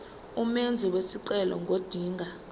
umenzi wesicelo ngodinga